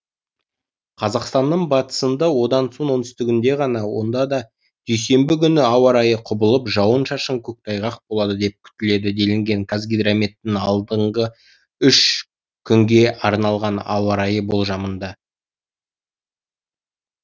қазақстанның батысында одан соң оңтүстігінде ғана онда да дүйсенбі күні ауа райы құбылып жауын шашын көктайғақ болады деп күтіледі делінген қазгидрометтің алдағы үш күнге арналған ауа райы болжамында